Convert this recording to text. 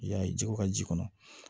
I y'a ye ji ko ka ji kɔnɔ